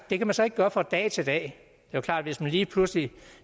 det kan man så ikke gøre fra dag til dag det er klart hvis man lige pludselig